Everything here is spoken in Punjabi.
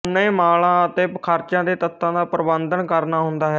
ਉਹਨੇ ਮਾਲਾਂ ਅਤੇ ਖਰਚਿਆਂ ਦੇ ਤੱਤਾਂ ਦਾ ਪ੍ਰਬੰਧਨ ਕਰਨਾ ਹੁੰਦਾ ਹੈ